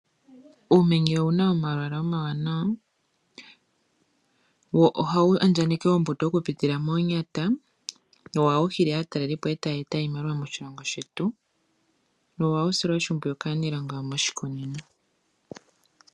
Uumenye owuna omalwaala omawanawa wo ohawu andjakaneke ombuto okupitila moonyata wo ohawu hili aatalelipo etaya eta oshimaliwa moshilongo shetu. Ohawu silwa oshimpwiyu kaaniilonga yomoshikunino.